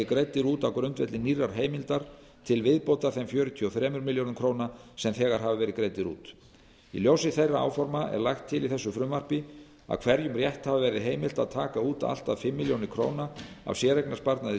greiddir út á grundvelli nýrrar heimildar til viðbótar þeim fjörutíu og þremur milljörðum króna sem þegar hafa verið greiddir út í ljósi þeirra áforma er lagt til í þessu frumvarpi að hverjum rétthafa verði heimilt að taka út allt að fimm milljónir króna af séreignarsparnaði